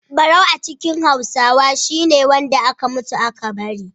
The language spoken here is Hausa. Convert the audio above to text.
Barau a cikin Hausawa shi ne wanda aka mutu aka bari.